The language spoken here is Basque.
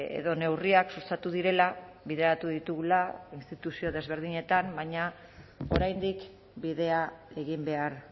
edo neurriak sustatu direla bideratu ditugula instituzio desberdinetan baina oraindik bidea egin behar